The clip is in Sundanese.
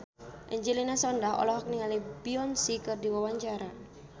Angelina Sondakh olohok ningali Beyonce keur diwawancara